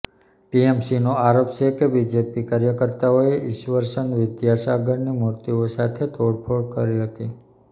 ટીએમસીનો આરોપ છે કે બીજેપી કાર્યકર્તાઓએ ઇશ્વરચંદ વિદ્યાસાગરની મૂર્તિઓ સાથે તોડફોડ કરી હતી